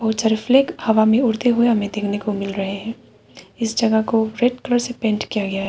उधर फ्लैग हवा में उड़ते हुए हमें देखने को मिल रहे हैं इस जगह को रेड कलर से पेंट किया गया है।